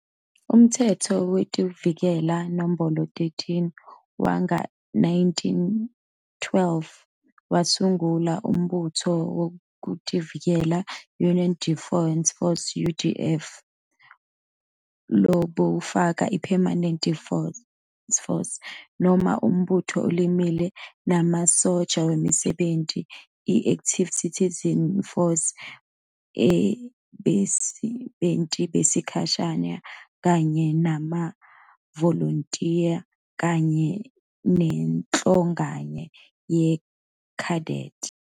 Umtsetfo Wetekuvikela, Nombolo 13, wanga-1912 wasungula Umbutfo Wetekuvikela, Union Defence Force, UDF, lobewufaka i-Permanent Force, noma libutfo lelimile, lemasotja emisebenti, i- Active Citizen Force yebasebenti besikhashana kanye nemavolontiya kanye nenhlangano ye- Cadet.